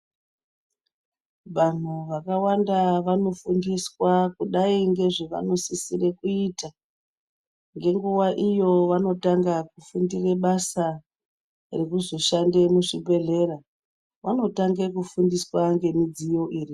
Vantu vakawanda vanofundiswa kudai ngezvanosisira kuita .Ngenguva iyo vanotanga fundo yebasa yekuzoshanda muzvibhedhlera .Vanotanga ngefundiswa ngemidziyo iyi